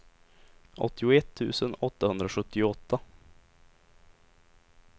åttioett tusen åttahundrasjuttioåtta